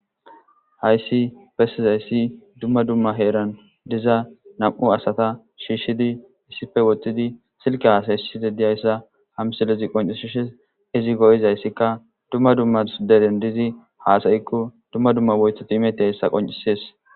Hayssi bessizayssi dumma dumma heeran diza nam7u asata shiishshidi issife wottidi silke haasayssi dediyayssa hamsilezi qoncishishes izi go7izayssika dumma dummas deren dizi haasayikko dumma dumma woythot imeti yssa qoncisees.